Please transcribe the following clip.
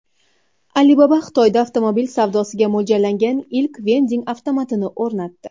Alibaba Xitoyda avtomobil savdosiga mo‘ljallangan ilk vending avtomatini o‘rnatdi.